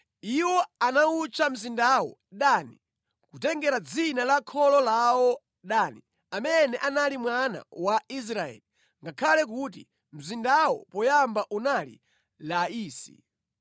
Iwo anawutcha mzindawo Dani, kutengera dzina la kholo lawo Dani, amene anali mwana wa Israeli, ngakhale kuti mzindawo poyamba unali Laisi.